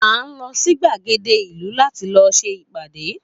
A n lo sí gbàgéde ìlú láti lọ ṣe ìpàdé